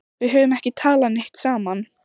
Við höfum ekki talað neitt saman.